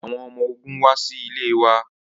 Awọn ọmọ ogun wa si ile wa